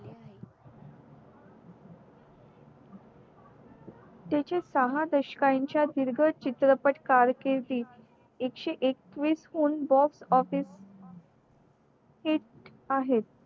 त्याची सहा दशकानं च्या दीर्घ चित्रपट कारकिर्दीत एकशे एकवीस हुन box office hit आहेत